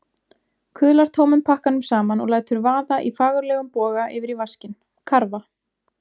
Kuðlar tómum pakkanum saman og lætur vaða í fagurlegum boga yfir í vaskinn, karfa!